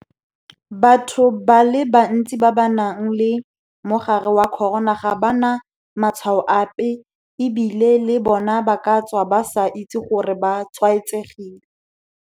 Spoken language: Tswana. Batho ba le bantsi ba ba nang le mogare wa corona ga ba na matshwao ape e bile le bona ba ka tswa ba sa itse gore ba tshwaetsegile.